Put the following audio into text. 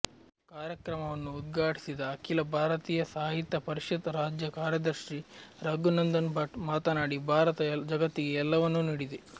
ಕಾರ್ಯಕ್ರಮವನ್ನು ಉದ್ಘಾಟಿಸಿದ ಅಖಿಲ ಭಾರತೀಯ ಸಾಹಿತ್ಯ ಪರಿಷತ್ ರಾಜ್ಯ ಕಾರ್ಯದರ್ಶಿ ರಘುನಂದನ್ ಭಟ್ ಮಾತನಾಡಿ ಭಾರತ ಜಗತ್ತಿಗೆ ಎಲ್ಲವನ್ನೂ ನೀಡಿದೆ